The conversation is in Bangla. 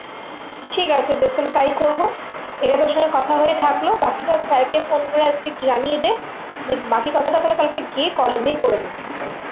ঠিক আছে বেশ তাহলে তাই করবো এটা তোর সাথে কথা হয়ে থাকলো বাকিটা sir কে phone করে আজকে জানিয়ে দে বাকি কথাটা তাহলে কালকে গিয়ে college এ করে নেবো